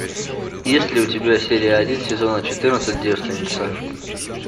есть ли у тебя серия один сезона четырнадцать девственница